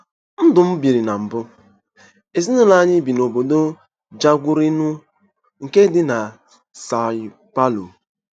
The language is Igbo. NDỤ M BIRI NA MBỤ: Ezinụlọ anyị bi n'obodo Jaguariuna, nke dị na São Paulo.